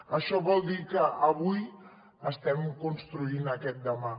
això vol dir que avui estem construint aquest demà